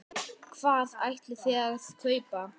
Hvað ætlið þið að kaupa?